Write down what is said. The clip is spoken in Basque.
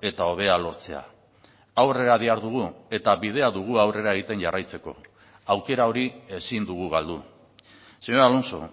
eta hobea lortzea aurrera dihardugu eta bidea dugu aurrera egiten jarraitzeko aukera hori ezin dugu galdu señor alonso